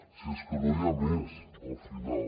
si és que no hi ha més al final